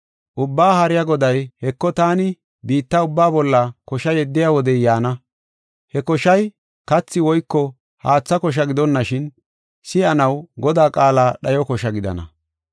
Ubbaa Haariya Goday, “Heko, taani biitta ubbaa bolla kosha yeddiya wodey yaana. He koshay kathi woyko haatha kosha gidonashin, si7anaw Godaa qaala dhayo kosha gidana.